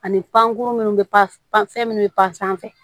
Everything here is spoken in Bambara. Ani pankurun minnu bɛ fan fɛn minnu bɛ pan sanfɛ